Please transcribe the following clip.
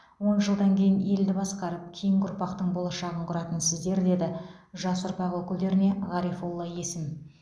он жылдан кейін елді басқарып кейінгі ұрпақтың болашағын құратын сіздер деді жас ұрпақ өкілдеріне ғарифолла есім